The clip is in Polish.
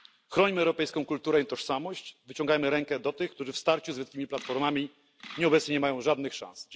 Chronimy europejską kulturę i tożsamość, wyciągajmy rękę do tych, którzy w starciu z wielkimi platformami obecnie nie mają żadnych szans.